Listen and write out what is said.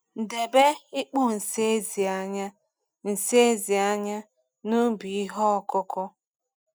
Debe ikpo nsị ezi anya nsị ezi anya na ubi ihe ọkụkụ.